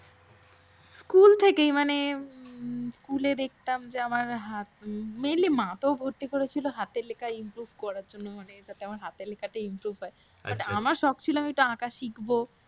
ছোট থেকেই মানে স্কুলে দেখতাম যে আমার হাত mainly মা তো ভর্তি করেছিল হাতের লেখা improve করার জন্য। মানে আমার হাতের লেখাটা যাতে improve হয়। আর আমার শখ ছিল যে আমি একটু আঁকা শিখব